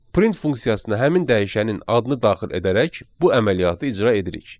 Print funksiyasına həmin dəyişənin adını daxil edərək bu əməliyyatı icra edirik.